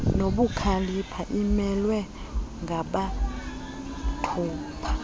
nobukhalipha imelwe ngamathupha